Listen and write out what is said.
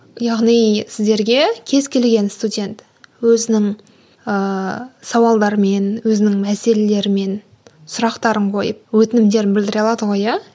яғни сіздерге кез келген студент өзінің ыыы сауалдарымен өзінің мәселелерімен сұрақтарын қойып өтінімдерін білдіре алады ғой ия